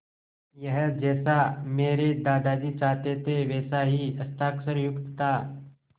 यह जैसा मेरे दादाजी चाहते थे वैसा ही हस्ताक्षरयुक्त था